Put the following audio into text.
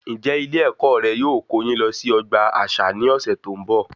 Ǹjẹ Ilé ẹkọ rẹ yóò kó yín lọ sí ọgbà àṣà ní ọsẹ tó n bọ?